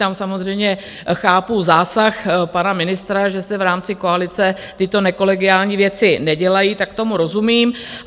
Tam samozřejmě chápu zásah pana ministra, že se v rámci koalice tyto nekolegiální věci nedělají, tak tomu rozumím.